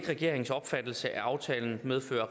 regeringens opfattelse at aftalen medfører